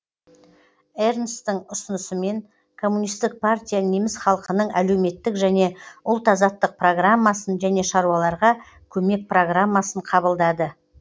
эрнсттың ұсынысымен коммунистік партия неміс халқының әлеуметтік және ұлт азаттық программасын және шаруаларға көмек программасын қабылдады